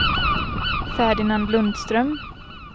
Ferdinand Lundström